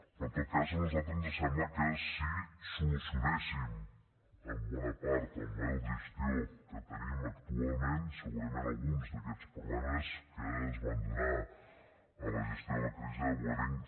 però en tot cas a nosaltres ens sembla que si solucionéssim en bona part el model de gestió que tenim actualment segurament alguns d’aquests problemes que es van donar en la gestió de la crisi de vueling